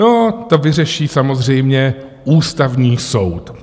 No to vyřeší samozřejmě Ústavní soud.